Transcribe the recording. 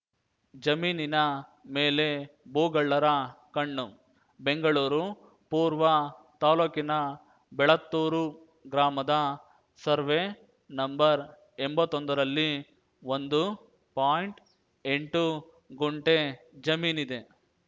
ಜಮೀನಿನ ಮೇಲೆ ಭೂಗಳ್ಳರ ಕಣ್ಣು ಬೆಂಗಳೂರು ಪೂರ್ವ ತಾಲೂಕಿನ ಬೆಳತ್ತೂರು ಗ್ರಾಮದ ಸರ್ವೆ ನಂಎಂಬತ್ತೊಂದರಲ್ಲಿ ಒಂದು ಪಾಯಿಂಟ್ಎಂಟು ಗುಂಟೆ ಜಮೀನಿದೆ